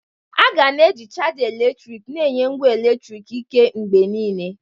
A ga na-eji chaja eletrik na-enye ngwa eletriki ike mgbe niile.